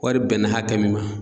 Wari bɛnna hakɛ min ma